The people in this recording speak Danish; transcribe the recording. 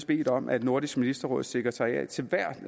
bedt om at nordisk ministerråds sekretariat til hvert